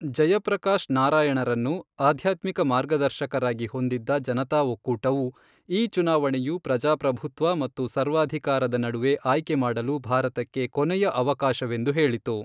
ಜಯಪ್ರಕಾಶ್ ನಾರಾಯಣರನ್ನು ಆಧ್ಯಾತ್ಮಿಕ ಮಾರ್ಗದರ್ಶಕರಾಗಿ ಹೊಂದಿದ್ದ ಜನತಾ ಒಕ್ಕೂಟವು, ಈ ಚುನಾವಣೆಯು ಪ್ರಜಾಪ್ರಭುತ್ವ ಮತ್ತು ಸರ್ವಾಧಿಕಾರದ ನಡುವೆ ಆಯ್ಕೆ ಮಾಡಲು ಭಾರತಕ್ಕೆ ಕೊನೆಯ ಅವಕಾಶವೆಂದು ಹೇಳಿತು.